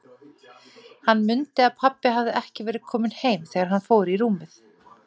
Hann mundi að pabbi hafði ekki verið kominn heim þegar hann fór í rúmið.